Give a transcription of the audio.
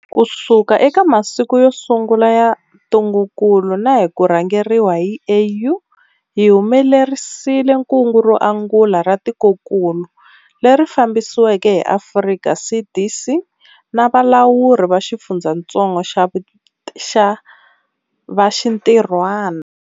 Kusuka eka masiku yo sungula ya ntungukulu na hi ku rhangeriwa hi AU, hi humelerisile kungu ro angula ra tikokulu, leri fambisiweke hi Afrika CDC na valawuri va xifundzatsongo va xintirhwana.